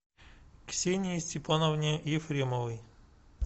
ксении степановне ефремовой